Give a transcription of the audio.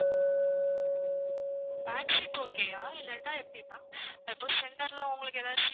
back seat okay யா? இல்லாட்டா எப்படி ma'am இப்போ center ல உங்களுக்கு ஏதாவது seat